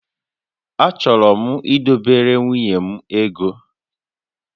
Achọrọ m idobere nwunye m ego